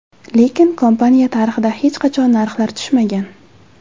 Lekin kompaniya tarixida hech qachon narxlar tushmagan.